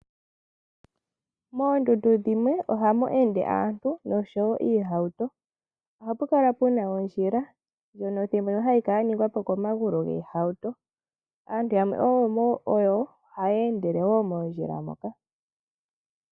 Moondundu dhimwe ohamu ende aantu nosho woo iihawuto, oha pu kala puna ondjila ndjono hayi ningwa po thimbo limwe komagulu goohawuto naantu yamwe omo haye ndele mondjila moka.